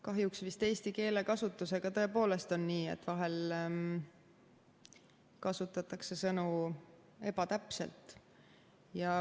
Kahjuks vist eesti keele kasutusega tõepoolest on nii, et vahel kasutatakse sõnu ebatäpselt.